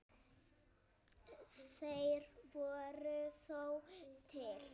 Þeir voru þó til.